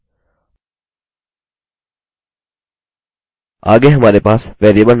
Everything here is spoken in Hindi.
आगे हमारे पास variable नामक अधिक महत्वपूर्ण viewing option है